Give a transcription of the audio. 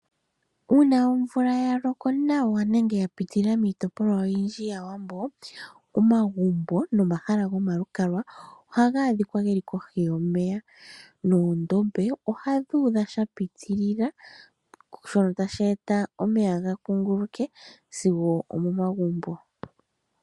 Uuna omvula ya loko nawa nenge ya pitilila miitopolwa oyindji ya wambo, omagumbo no mahala goma lukalwa oha ga adhika nee kohi yomeya. Noondombe ohadhi udha sha pitilila, shono tashi eta omeya ga kunguluke sigo omo magumbo.